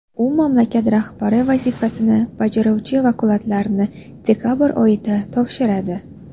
U mamlakat rahbari vazifasini bajaruvchi vakolatlarini dekabr oyida topshiradi .